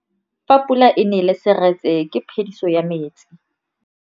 Fa pula e nelê serêtsê ke phêdisô ya metsi.